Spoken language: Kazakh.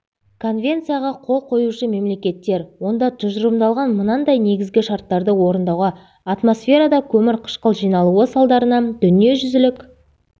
конвенцияға қол қоюшы мемлекеттер онда тұжырымдалған мынандай негізгі шарттарды орындауға атмосферада көмірқышқыл жиналуы салдарынан дүниежүзілік